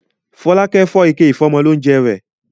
Fọlákẹ́ fọ́ ike ìfọ́mọlóúńjẹ rẹ̀.